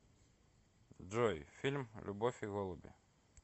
джой фильм любовь и голуби